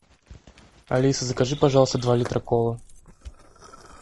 алиса закажи пожалуйста два литра колы